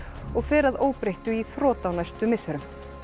og fer að óbreyttu í þrot á næstu misserum